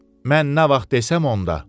Mən nə vaxt desəm onda.